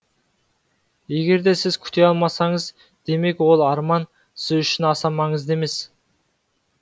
егерде сіз күте алмасаңыз демек ол арман сіз үшін аса маңызды емес